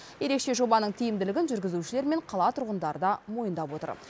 ерекше жобаның тиімділігін жүргізушілер мен қала тұрғындары да мойындап отыр